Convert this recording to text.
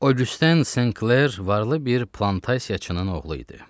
Oqyusten Sen Kler varlı bir plantasiyaçının oğlu idi.